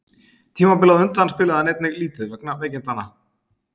Tímabilið á undan spilaði hann einnig lítið vegna veikindanna.